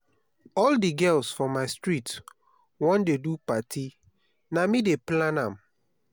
all di girls for my street wan do party na me dey plan am.